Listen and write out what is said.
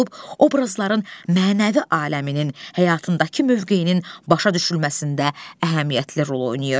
obrazların mənəvi aləminin, həyatındakı mövqeyinin başa düşülməsində əhəmiyyətli rol oynayır.